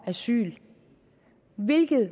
asyl hvilket